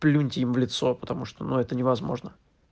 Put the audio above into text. плюньте им в лицо потому что ну это невозможно